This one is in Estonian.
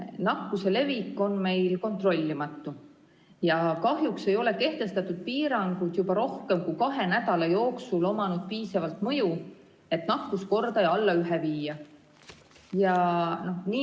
Nakkuse levik on meil kontrollimatu ja kahjuks ei ole kehtestatud piirangud juba rohkem kui kahe nädala jooksul avaldanud piisavat mõju, et nakkuskordaja alla ühe viia.